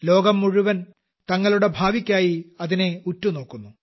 ലോകം മുഴുവൻ തങ്ങളുടെ ഭാവിക്കായി അതിനെ ഉറ്റുനോക്കുന്നു